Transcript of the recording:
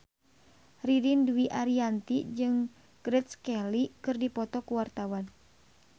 Ririn Dwi Ariyanti jeung Grace Kelly keur dipoto ku wartawan